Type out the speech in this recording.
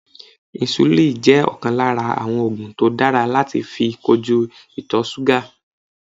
Insulin jẹ́ ọ̀kan lára àwọn ògùn tó dára láti fi kojú ìtọ̀súgà